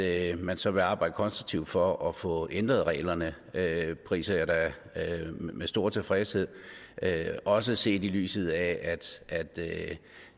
at man så vil arbejde konstruktivt for at få ændret reglerne priser jeg da med stor tilfredshed også set i lyset af at